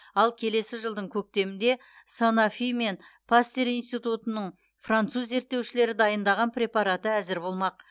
ал келесі жылдың көктемінде санофи мен пастер институтының француз зерттеушілері дайындаған препараты әзір болмақ